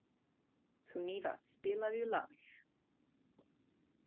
Sunníva, spilaðu lag.